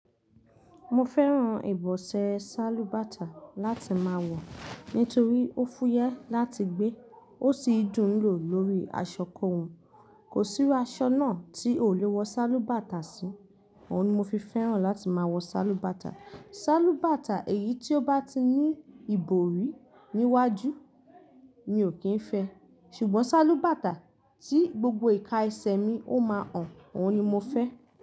Mo fẹ́ran ìbọ̀sẹ̀ sálúbàtà láti máa wọ̀ nítorí ó fúyẹ́ láti gbé, ó sì dùn lò lórí aṣọ kóhun. Kò sí iru aṣọ náà tí o lè wọ sálúbàtà sí, òhun ni mo fi fẹ́ran láti máa wọ sálúbàtà. Sálúbàtà èyí tí ó bá ti ní ìbòrí níwájú mi ò kín fẹ́, ṣùgbọ́n sálúbàtà tí gbogbo ìka ẹsẹ̀ mi ó máa hàn, òhun ni mo fẹ́.